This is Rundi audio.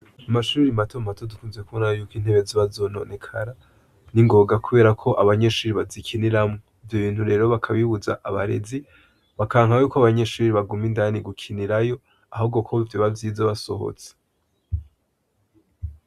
Amashure mato mato dukunze kubona yuko intebe ziba zononekara ningoga, kubera ko abayeshure bazikiniramwo. Ivyo bintu rero bakabibuza abarezi bakanka yuko abanyeshure baguma indani gukinirayo, ahubwo ko vyoba vyiza basohotse.